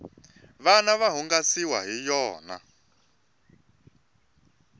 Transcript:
vana va hungasiwa hi yona